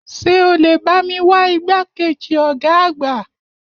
Ṣé o lè bá mi wá igbákejì ọ̀gá àgbà?